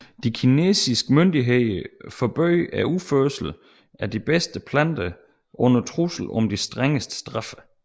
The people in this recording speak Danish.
De kinesiske myndigheder forbød udførsel af de bedste planter under trussel om de strengeste straffe